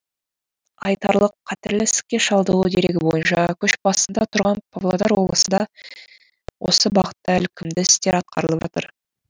айталық қатерлі ісікке шалдығу дерегі бойынша көш басында тұрған павлодар облысында осы бағытта ілкімді істер атқарылып жатыр